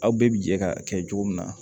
Aw bɛɛ bi jɛ ka kɛ cogo min na